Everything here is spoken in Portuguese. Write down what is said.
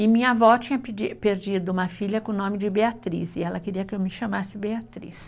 E minha avó tinha perdido uma filha com o nome de Beatriz e ela queria que eu me chamasse Beatriz.